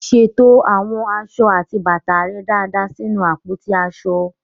Ṣètò àwọn aṣọ àti bàtà rẹ dáadáa nínú àpótí aṣọ.